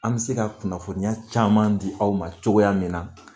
An bɛ se ka kunnafoniya caman di aw ma cogoya min na